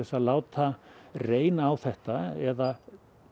að láta reyna á þetta eða